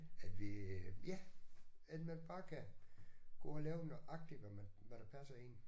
At vi øh ja at man bare kan gå og lave nøjagtigt hvad man hvad der passer en